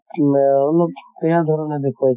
মা অলপ বেয়া ধৰণে দেখোৱাইছে